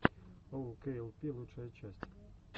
оукейэлпи лучшая часть